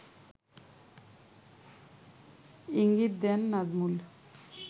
ইঙ্গিত দেন নাজমুল